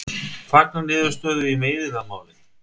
Fagna niðurstöðu í meiðyrðamáli